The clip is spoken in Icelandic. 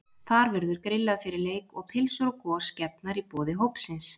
Þar verður grillað fyrir leik og pylsur og gos gefnar í boði hópsins.